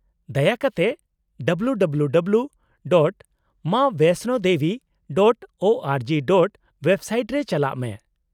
-ᱫᱟᱭᱟ ᱠᱟᱛᱮ www.maavaishnodevi.org. Website ᱨᱮ ᱪᱟᱞᱟᱜ ᱢᱮ ᱾